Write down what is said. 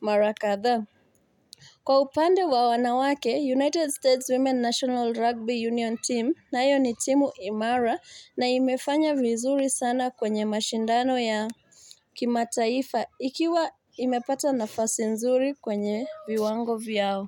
mara kadhaa. Kwa upande wa wanawake United States Women's National Rugby Union Team nayo ni timu imara na imefanya vizuri sana kwenye mashindano ya kimataifa ikiwa imepata nafasi nzuri kwenye viwango vyao.